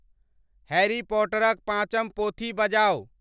Harry Potter क पाँचम पोथी बजाऊ